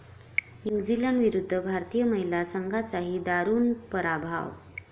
न्यूझीलंडविरुद्ध भारतीय महिला संघाचाही दारूण पराभव